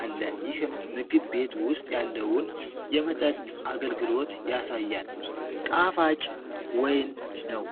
አለ። ይህም ምግብ ቤት ውስጥ ያለውን የመጠጥ አገልግሎት ያሳያል። ጣፋጭ ወይን ነው።